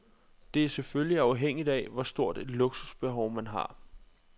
Det er selvfølgelig afhængigt af, hvor stort et luksusbehov man har.